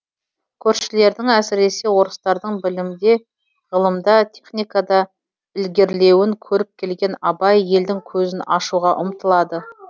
көршілердің әсіресе орыстардың білімде ғылымда техникада ілгерілеуін көріп келген абай елдің көзін ашуға ұмтылады